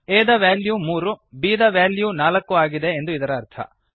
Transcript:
a ದ value 3 ಮತ್ತು b ದ ವ್ಯಾಲ್ಯೂ 4 ಆಗಿದೆ ಎಂದು ಇದರ ಅರ್ಥ